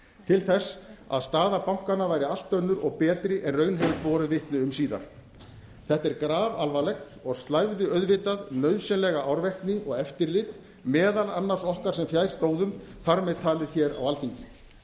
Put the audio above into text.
til þess að staða bankanna væri allt önnur og betri en raun hefði borið vitni um síðar þetta er grafalvarlegt og slævði auðvitað nauðsynlega árvekni og eftirlit meðal annars okkar sem fjær stóðum þar með talið á alþingi